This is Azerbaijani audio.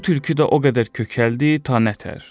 Bu tülkü də o qədər kökəldi, ta nə təhər.